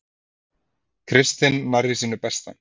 Kristinn nærri sínu besta